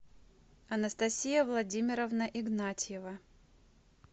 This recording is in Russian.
анастасия владимировна игнатьева